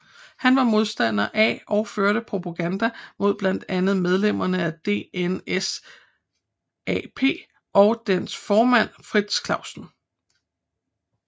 Han var modstander af og førte propaganda mod blandt andet medlemmer af DNSAP og dets formand Frits Clausen